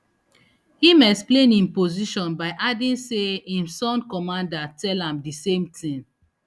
im explain im position by adding say im son commander tell am di same tin